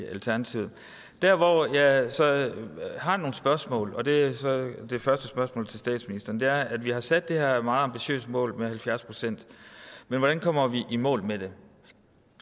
i alternativet der hvor jeg så har nogle spørgsmål og det er så det første spørgsmål til statsministeren er at vi har sat det her meget ambitiøse mål med halvfjerds procent men hvordan kommer vi i mål med det